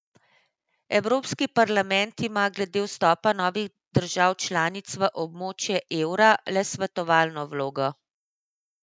Evropski parlament ima glede vstopa novih držav članic v območje evra le svetovalno vlogo.